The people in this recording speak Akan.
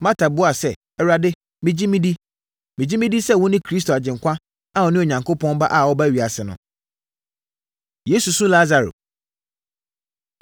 Marta buaa sɛ, “Awurade, megye medi. Megye medi sɛ wone Kristo Agyenkwa a ɔne Onyankopɔn Ba a ɔreba ewiase no.” Yesu Su Lasaro